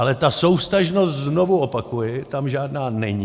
Ale ta souvztažnost - znovu opakuji - tam žádná není.